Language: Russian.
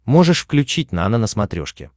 можешь включить нано на смотрешке